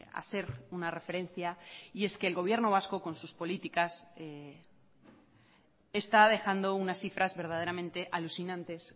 hacer una referencia y es que el gobierno vasco con sus políticas está dejando unas cifras verdaderamente alucinantes